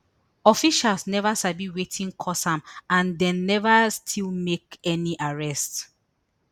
officials neva sabi wetin cause am and dem neva still make any arrests